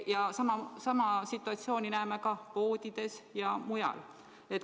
Ja sama situatsiooni näeme ka poodides ja mujal.